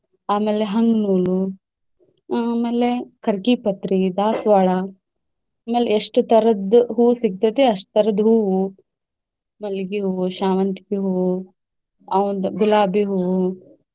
ಆಮೇಲೆ ಆಮೇಲೆ ಕರ್ಕಿ ಪತ್ರಿ, ದಾಸ್ವಾಳ ಆಮೇಲೆ ಎಷ್ಟ ತರದ್ ಹೂವು ಸಿಗತೈತಿ ಅಷ್ಟ್ ತರದ್ ಹೂವು ಮಲ್ಗಿ ಹೂವು, ಶಾವಂತಿಗಿ ಹೂವು, ಒಂದ್ ಗುಲಾಬಿ ಹೂವು.